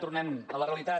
tornem a la realitat